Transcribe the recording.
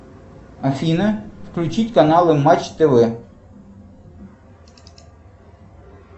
афина включить канал матч тв